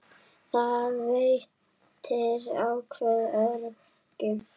Það veitir ákveðið öryggi.